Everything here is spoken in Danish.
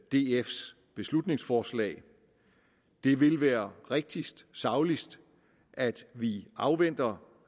df’s beslutningsforslag det vil være rigtigst sagligst at vi afventer